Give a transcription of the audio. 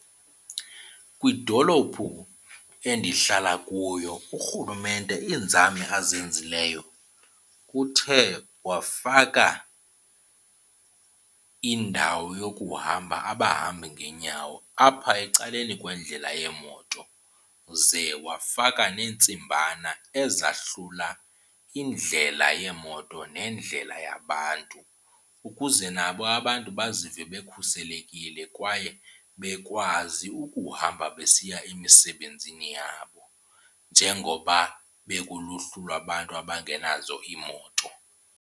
Kwidolophu endihlala kuyo urhulumente iinzame azenzileyo uthe wafaka indawo yokuhamba abahambi ngeenyawo apha ecaleni kwendlela yeemoto, ze wafaka neentsimbana ezahlula indlela yeemoto nendlela yabantu ukuze nabo abantu bazive bekhuselekile kwaye bekwazi ukuhamba besiya emisebenzini yabo njengoba bekuluhlu lwabantu abangenazo iimoto.